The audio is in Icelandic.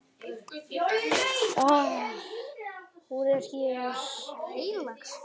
Hún er hér.